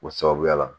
O sababuya la